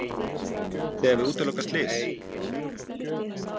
Þið hafið útilokað slys?